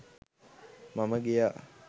මම ගියා